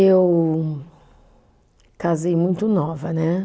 Eu casei muito nova, né?